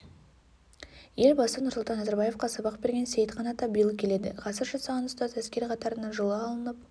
елбасы нұрсұлтан назарбаевқа сабақ берген сейітхан ата биыл келеді ғасыр жасаған ұстаз әскер қатарына жылы алынып